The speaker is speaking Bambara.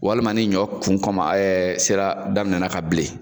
Walima ni ɲɔ kun kɔma sera daminɛnna ka bilen.